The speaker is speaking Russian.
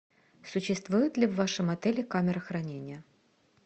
существует ли в вашем отеле камера хранения